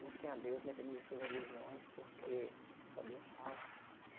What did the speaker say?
Busquem a Deus, independente de suas religiões, porque só Deus salva.